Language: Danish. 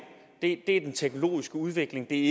er den teknologiske udvikling det